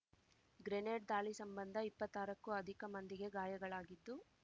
grenade ದಾಳಿ ಸಂಬಂಧ ಇಪ್ಪತ್ತಾರಕ್ಕೂ ಅಧಿಕ ಮಂದಿಗೆ ಗಾಯಗಳಾಗಿದ್ದು